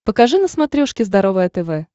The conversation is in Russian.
покажи на смотрешке здоровое тв